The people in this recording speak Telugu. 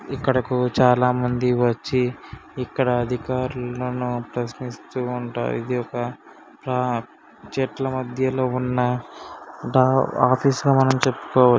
ఇక్కడికి చాలామంది వచ్చి ఇక్కడి అధికారులను ప్రశ్నిస్తూ ఉంటారు. ఇది ఒక ప్ర చెట్ల మధ్యలో ఉన్న ఆఫీస్ గా మనం చెప్పుకో--